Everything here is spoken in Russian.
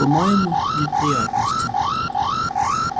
по-моему неприятности